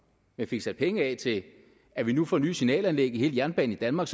vi fik sat penge af til at vi nu får nye signalanlæg på hele jernbanen i danmark